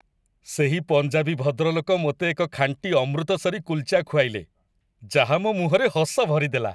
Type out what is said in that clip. ସେହି ପଞ୍ଜାବୀ ଭଦ୍ରଲୋକ ମୋତେ ଏକ ଖାଣ୍ଟି ଅମୃତସରୀ କୁଲଚା ଖୁଆଇଲେ, ଯାହା ମୋ ମୁହଁରେ ହସ ଭରିଦେଲା।